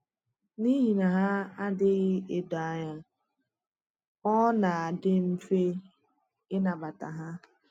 N’ihi na hà adịghị edo anya, ọ na-adị mfe ịnabata hà.